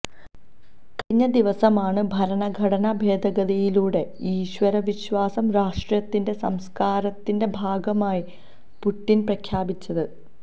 കഴിഞ്ഞ ദിവസമാണ് ഭരണഘടനാ ഭേദഗതിയിലൂടെ ഈശ്വര വിശ്വാസം രാഷ്ട്രത്തിന്റെ സംസ്കാരത്തിന്റെ ഭാഗമായി പുട്ടിൻ പ്രഖ്യാപിച്ചത്